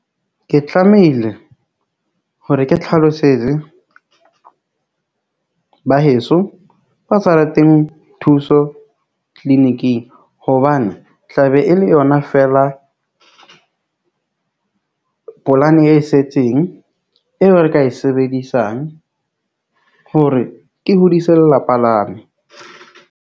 Ke tlamehile hore ke tlhalosetse ba heso, ba sa rateng thuso clinic-ing hobane o tla be e e le yona feela, polane e setseng eo re ka e sebedisang hore ke hodise lelapa la me.